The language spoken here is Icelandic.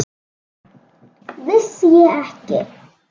Vissi ég ekki!